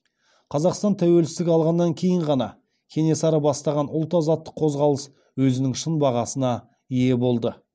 қазақстан тәуелсіздік алғаннан кейін ғана кенесары бастаған ұлт азаттық қозғалыс өзінің шын бағасына ие болды